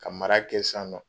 Ka mara kɛ san nɔ